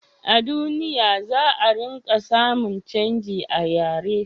a duniya, za a ringa samun canji a yare